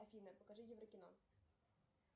афина покажи еврокино